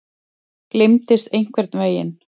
Gleymdist einhvern veginn.